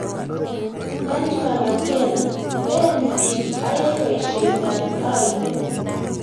Najma Makena: Leen biik ayae boisyetab aindet